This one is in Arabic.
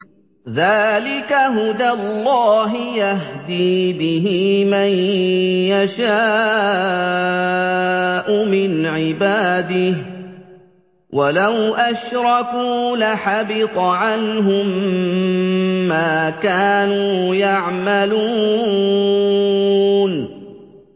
ذَٰلِكَ هُدَى اللَّهِ يَهْدِي بِهِ مَن يَشَاءُ مِنْ عِبَادِهِ ۚ وَلَوْ أَشْرَكُوا لَحَبِطَ عَنْهُم مَّا كَانُوا يَعْمَلُونَ